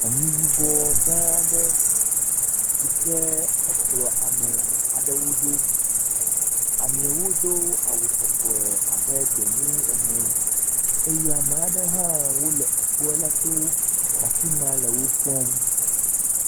Anyi yibɔ gã aɖe si ke ekplɔ ame aɖewo ɖo, ameawo do awu sɔsɔe abe gbemu ene eye ame aɖewo hã wole ekpo aɖe to lre afi ma le wo kpɔm.